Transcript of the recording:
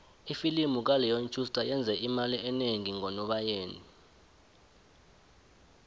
ifilimu kaleon schuster iyenze imali enengi ngonobayeni